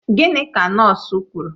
Gịnị ka nọọsụ kwuru?